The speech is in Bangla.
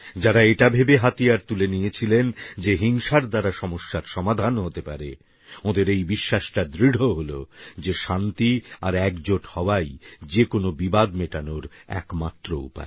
যাঁরা এটা ভেবে হাতিয়ার তুলে নিয়েছিলেন যে হিংসার দ্বারা সমস্যার সমাধান হতে পারে ওঁদের এই বিশ্বাসটা দৃঢ় হল যে শান্তি আর এক জোট হওয়াই যে কোনো বিবাদ মেটানোর একমাত্র উপায়